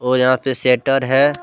और यहां पे शेटर है।